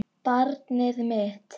Barnið mitt.